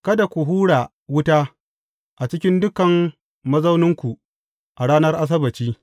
Kada ku hura wuta a cikin duk mazauninku a ranar Asabbaci.